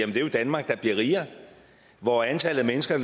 er jo et danmark der bliver rigere hvor antallet af mennesker